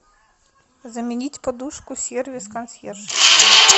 заменить подушку сервис консьерж